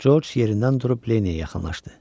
Corc yerindən durub Lenniyə yaxınlaşdı.